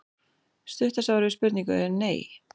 Stutta svarið við spurningunni er nei.